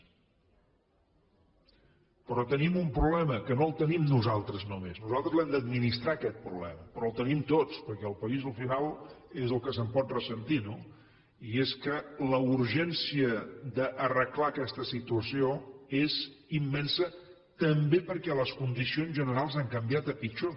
però tenim un problema que no el tenim nosaltres només nosaltres l’hem d’administrar aquest problema però el tenim tots perquè el país al final és el que se’n pot ressentir no i és que la urgència d’arreglar aquesta situació és immensa també perquè les condicions generals han canviat a pitjor